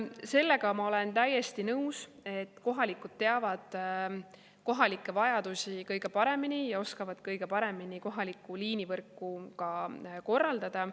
Sellega ma olen täiesti nõus, et kohalikud teavad kohalikke vajadusi kõige paremini ja oskavad kõige paremini kohalikku liinivõrku korraldada.